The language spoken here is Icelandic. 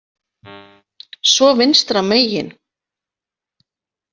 Svo vinstra megin.